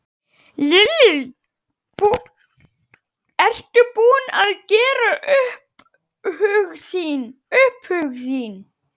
Lillý: Ertu búin að gera upp hug þinn?